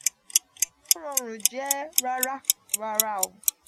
idahun ti o rọrun jẹ rara. rara.